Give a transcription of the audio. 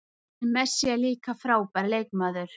En Messi er líka frábær leikmaður